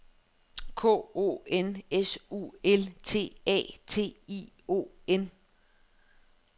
K O N S U L T A T I O N